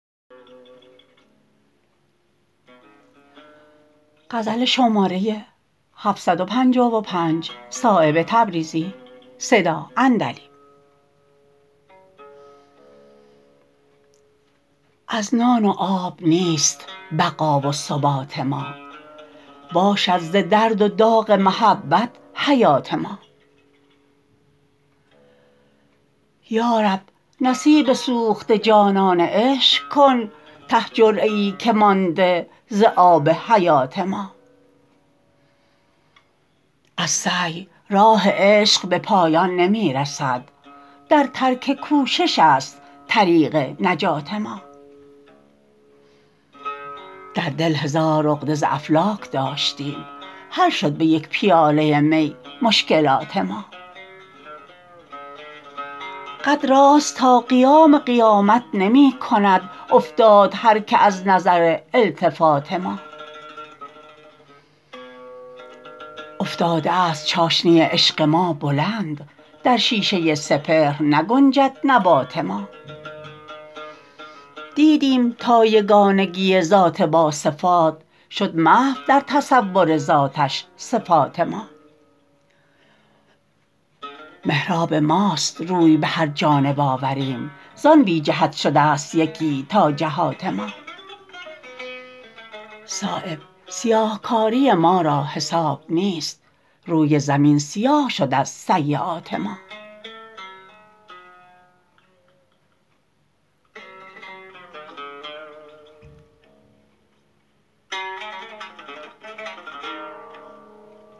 از نان و آب نیست بقا و ثبات ما باشد ز درد و داغ محبت حیات ما یارب نصیب سوخته جانان عشق کن ته جرعه ای که مانده ز آب حیات ما از سعی راه عشق به پایان نمی رسد در ترک کوشش است طریق نجات ما در دل هزار عقده ز افلاک داشتیم حل شد به یک پیاله می مشکلات ما قد راست تا قیام قیامت نمی کند افتاد هر که از نظر التفات ما افتاده است چاشنی عشق ما بلند در شیشه سپهر نگنجد نبات ما دیدیم تا یگانگی ذات با صفات شد محو در تصور ذاتش صفات ما محراب ماست روی به هر جانب آوریم زان بی جهت شده است یکی تا جهات ما صایب سیاهکاری ما را حساب نیست روی زمین سیاه شد از سییات ما